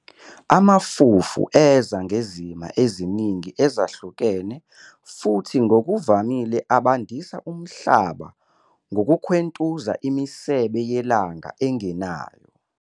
Amafufu eza ngezima eziningi ezihlukene futhi ngokuvamile abandisa umhlaba ngokukhwentuza imisebe yelanga engenayo.